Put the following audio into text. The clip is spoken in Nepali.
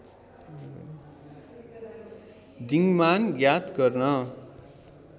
दिङ्‌मान ज्ञात गर्न